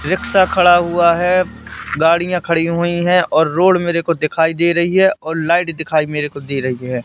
Rickshaw खड़ा हुआ है गाड़ियां खड़ी हुई है और रोड मेरे को दिखाई दे रही है और लाइट दिखाई मेरे को दे रही है।